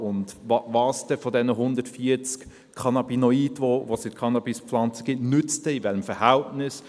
Und welches von diesen 140 Cannabinoiden, die es in der Cannabispflanze gibt, nützt denn in welchem Verhältnis?